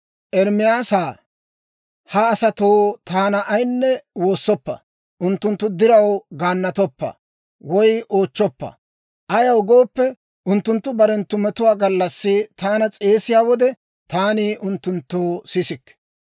«Ermaasaa, ha asatoo taana ayinne woossoppa; unttunttu diraw gaannatoppa woy oochchoppa. Ayaw gooppe, unttunttu barenttu metuwaa gallassi taana s'eesiyaa wode taani unttunttoo sisikke.